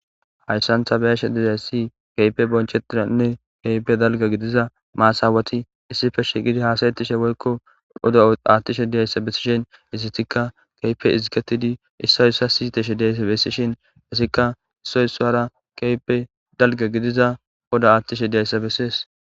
Haysan ta beyashe dizayssi keype bonchetinanne keype dalga gidiza maasaweti issife shigidi haasayettishe woykko odo aattishe diyayssa bessishen isitika keype iziketidi isso ssa siteshe deeysse bessishin issikka issoyssoara keype dalga gidiza oda aattishe diyayssa bessees